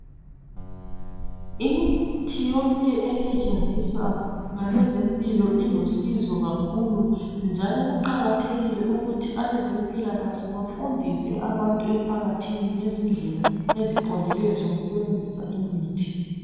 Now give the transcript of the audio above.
Imithi yonke esetshenziswa ngabezempilakahle ilusizo kakhulu njalo kuqakathekile ukuthi abezempilakahle bafundise abantu emphakathini ngezindlela eziqondileyo zokusebenzisa imithi.